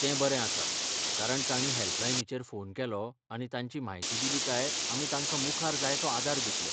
ते बरें आसा कारण तांणी हॅल्पलायनीचेर फोन केलो आनी तांची म्हायती दिली काय, आमी तांकां मुखार जाय तो आदार दितले.